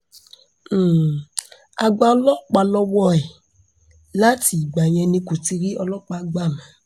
um a gba ọlọ́pàá lọ́wọ́ um ẹ̀ láti ìgbà yẹn ni kò ti rí ọlọ́pàá gbà mọ́